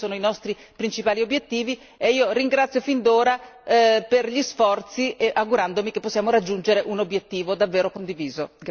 Questi sono i nostri principali obiettivi e io ringrazio fin d'ora per gli sforzi augurandomi che possiamo raggiungere un obiettivo davvero condiviso.